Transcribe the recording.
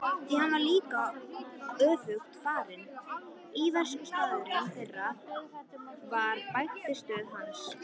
Því var líka öfugt farið: íverustaður þeirra var bækistöð hans.